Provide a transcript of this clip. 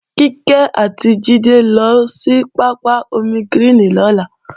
Kíkẹ́ àti Jídé ó lọ sí pápá ómígíríìnì lọ́la